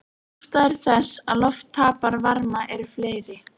Ástæður þess að loft tapar varma eru fleiri.